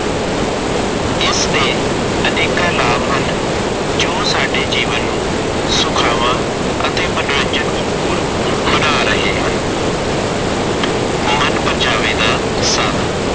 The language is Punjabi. ਇਸਦੇ ਅਨੇਕਾਂ ਲਾਭ ਹਨ ਜੋ ਸਾਡੇ ਜੀਵਨ ਨੂੰ ਜੋ ਸਾਡੇ ਜੀਵਨ ਨੂੰ ਸੁਖਾਵਾ ਅਤੇ ਮਨੋਰੰਜਨ ਭਰਪੂਰ ਬਣਾ ਰਹੇ ਹਨ। ਮਨਪਰਚਾਵੇ ਦਾ ਸਾਧਨ-